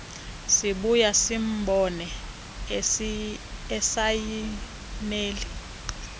sibuya simbone esayinela